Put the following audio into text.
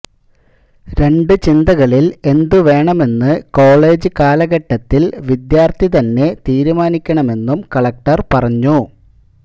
രണ്ട് ചിന്തകളില് എന്തുവേണമെന്ന് കോളജ് കാലഘട്ടത്തില് വിദ്യാര്ഥി തന്നെ തീരുമാനിക്കണമെന്നും കളക്ടര് പറഞ്ഞു